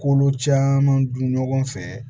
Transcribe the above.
Kolo caman dun ɲɔgɔn fɛ